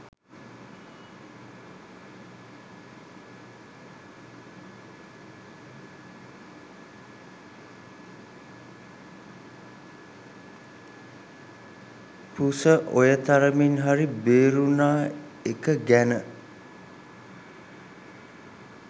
පුස ඔය තරමින් හරි බේරුනා එක ගැන